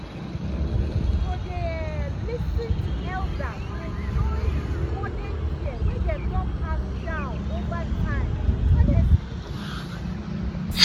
to dey um lis ten to elders dey join with modern care wey dem don pass down over time honestly